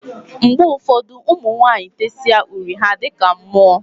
Mgbe ụfọdụ, ụmụ nwanyị tesịa uri ha a dịka mmụọ.